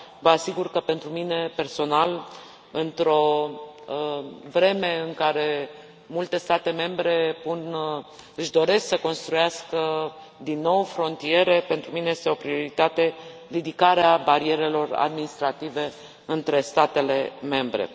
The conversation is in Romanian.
Vă asigur că pentru mine, personal, într o vreme în care multe state membre își doresc să construiască din nou frontiere, pentru mine este o prioritate ridicarea barierelor administrative între statele membre.